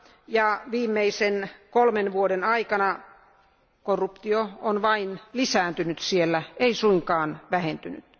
ja viimeisen kolmen vuoden aikana korruptio on vain lisääntynyt siellä, ei suinkaan vähentynyt.